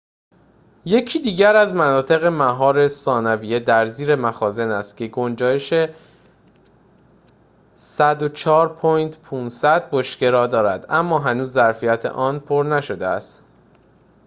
یکی دیگر از مناطق مهار ثانویه در زیر مخازن است که گنجایش ۱۰۴.۵۰۰ بشکه را دارد اما هنوز ظرفیت آن پر نشده است